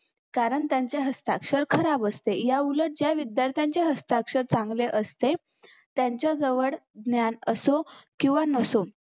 कारण त्याचं हस्ताक्षर खराब असते याउलट ज्या विध्यार्थांचे हस्ताक्षर चांगले असते त्यांच्याजवळ ज्ञान असो किंवा नसो